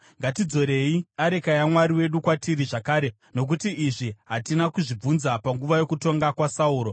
Ngatidzorei areka yaMwari wedu kwatiri zvakare, nokuti izvi hatina kuzvibvunza panguva yokutonga kwaSauro.”